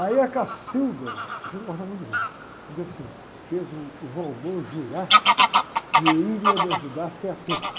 Aí a, a gosta muito de mim, um dia, assim, fez uh, o jurar que ele ia me ajudar a ser ator.